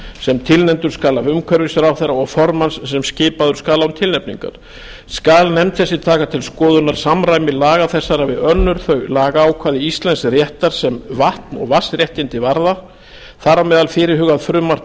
sem tilnefndur skal af umhverfisráðherra og formanns sem skipaður skal án tilnefningar skal nefnd þessi taka til skoðunar samræmi laga þessara við önnur þau lagaákvæði íslensks réttar sem vatn og vatnsréttindi varða þar á meðal fyrirhugað frumvarp